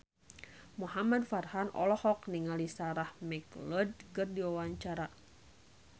Muhamad Farhan olohok ningali Sarah McLeod keur diwawancara